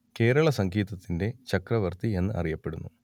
കേരള സംഗീതത്തിന്റെ ചക്രവർത്തി എന്നു അറിയപ്പെടുന്നു